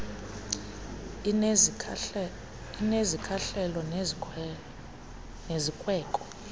inezi zikhahlelo nezikweko